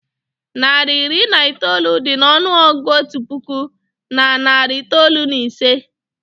Narị iri na itoolu dị n'ọnụọgụgụ otu puku na narị itoolu na ise